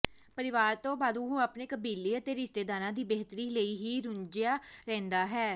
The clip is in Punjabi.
ਪਰਿਵਾਰ ਤੋਂ ਬਾਅਦ ਉਹ ਆਪਣੇ ਕਬੀਲੇ ਅਤੇ ਰਿਸ਼ਤੇਦਾਰਾਂ ਦੀ ਬਿਹਤਰੀ ਲਈ ਹੀ ਰੁਝਿਆ ਰਹਿੰਦਾ ਹੈ